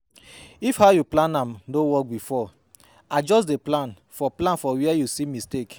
If how yu plan am no work bifor adjust di plan for plan for wia yu see mistake